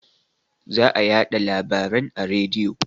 Za a yaɗa larabaren a rediyo